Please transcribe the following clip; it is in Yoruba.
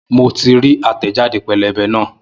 Mo ti rí àtẹ̀jáde pẹ́lẹ́bẹ́ náà